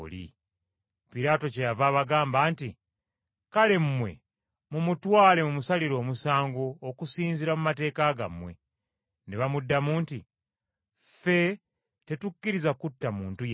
Piraato kyeyava abagamba nti, “Kale mmwe mumutwale mumusalire omusango okusinziira mu mateeka gammwe.” Ne bamuddamu nti, “Ffe tetukkiriza kutta muntu yenna.”